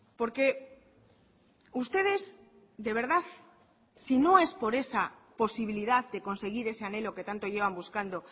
porque ustedes de verdad si no es por esa posibilidad de conseguir ese anhelo que tanto llevan buscando